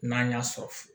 N'an y'a sɔrɔ